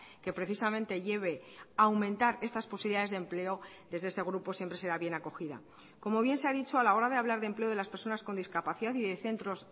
que precisamente lleve a aumentar estas posibilidades de empleo desde este grupo siempre será bien acogida como bien se ha dicho a la hora de hablar de empleo de las personas con discapacidad y de centros